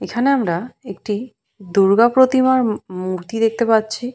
এখানে আমরা একটি দূর্গা প্রতিমার ম মূর্তি দেখতে পাচ্ছি।